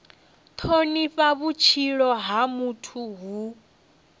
thonifha vhutshilo ha muthu hu